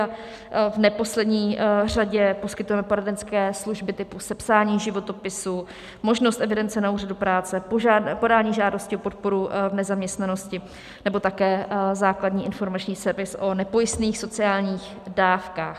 A v neposlední řadě poskytujeme poradenské služby typu sepsání životopisu, možnost evidence na úřadu práce, podání žádosti o podporu v nezaměstnanosti nebo také základní informační servis o nepojistných sociálních dávkách.